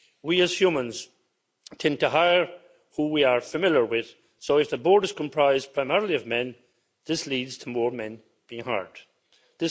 we as humans tend to hire who we are familiar with, so if the board is comprised primarily of men, this leads to more men being hired.